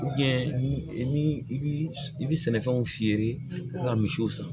ni i bi i bi sɛnɛfɛnw fiyɛli ka misiw san